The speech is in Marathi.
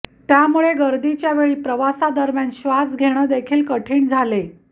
त्यामुळे गर्दीच्या वेळी प्रवासादरम्यान श्वास घेणे देखील कठीण झाले